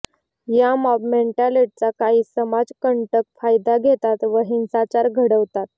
या मॉब मेंटॅलिटीचा काही समाजकंटक फायदा घेतात व हिंसाचार घडवतात